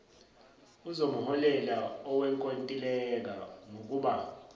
uzomholela owenkontileka ngokuba